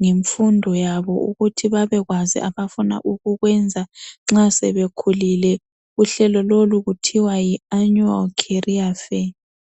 ngenfundo yabo ukuthi babekwazi abafuna ukukwenza nxa sebekhulile. Uhlelo lolu kuthiwa yiannual career fair.